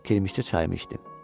Kirimşicə çayımı içdim.